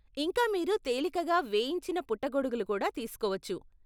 ఇంకా మీరు తేలికగా వేయించిన పుట్టగొడుగులు కూడా తీసుకోవచ్చు.